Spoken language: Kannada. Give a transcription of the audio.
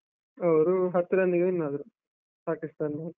ಅವ್ರು ಹತ್ತು run ಗೆ win ಆದ್ರು, ಪಾಕಿಸ್ತಾನ್ದವ್ರು.